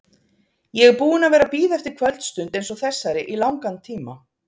Ég er búinn að vera að bíða eftir kvöldstund eins og þessari í langan tíma.